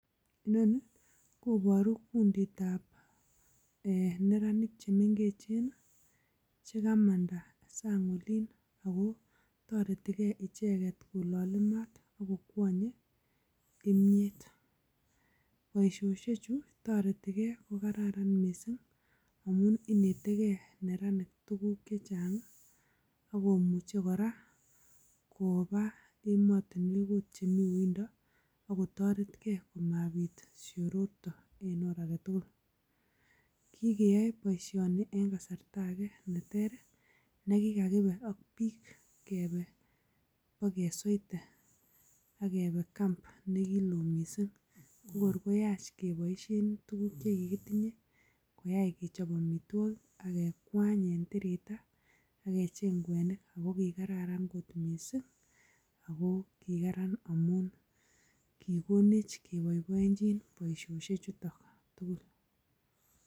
Inoni koboru kunditab neranik che mengechen che kamanda sang olin ago toreti gee ichegte kololi maat, ak kokwonye kimyet. Boisyoshechu toretige ko kararan mising amun inetege neranik tuguk che chang ak komuche kora koba emotinwek agot chemi yundo ak ko toretge komabit siororto en oret age tugul. Kiy keyoe boisioni en kasarta age ne ter ne kigakib ak biik, keebe kibakesweite kebe camp ne kiloo mising. Ko kor koyach keboisien tugukche kigitinye koyach kechob amitwogik, kekwany en tirita , ak kecheng kwenik, agokiraran kot mising. Ago kigaran amut kigonech kiboiboiechin boisiosiechuto tugul.